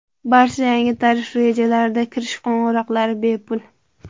Barcha yangi tarif rejalarida kirish qo‘ng‘iroqlari – bepul.